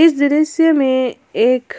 इस दृश्य में एक